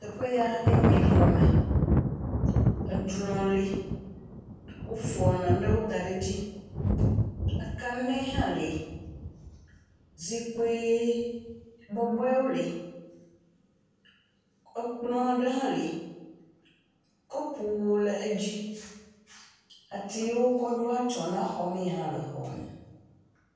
Teƒe ya ye nye xɔme, edrɔ̃ le, wofɔ nane da ɖe edzi, akane hã le, zikpui bɔbɔewo hã le, ekplɔ aɖewo hã le, enu bɔbɔewo le edzi. Atiwo kɔ ɖɔe atsyɔ̃e na xɔme hã le xɔa me.